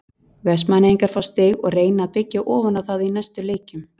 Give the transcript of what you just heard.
Vestmannaeyingar fá stig og reyna að byggja ofan á það í næstu leikjum.